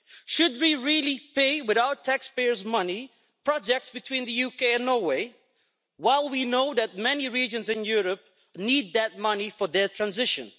Should we really pay with our taxpayers' money for projects between the UK and Norway while we know that many regions in Europe need that money for their transition?